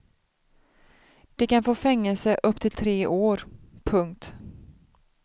De kan få fängelse upp till tre år. punkt